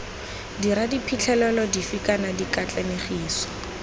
dirwa diphitlhelelo dife kana dikatlanegiso